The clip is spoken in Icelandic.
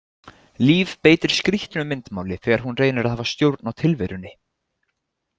Líf beitir skrýtnu myndmáli þegar hún reynir að hafa stjórn á tilverunni.